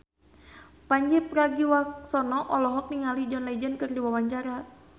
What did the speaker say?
Pandji Pragiwaksono olohok ningali John Legend keur diwawancara